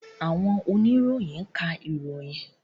Àwọn oníròyìn ń ka ìròyìn.